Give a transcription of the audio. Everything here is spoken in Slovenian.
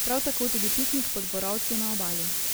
Prav tako tudi piknik pod borovci na obali.